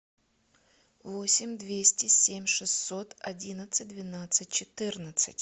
восемь двести семь шестьсот одиннадцать двенадцать четырнадцать